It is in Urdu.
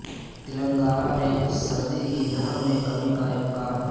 تلنگانہ میں سردی کی لہر میں کمی کا امکان